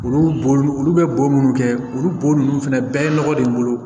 Olu bo olu bɛ bo minnu kɛ olu bo ninnu fɛnɛ bɛɛ ye nɔgɔ de bolo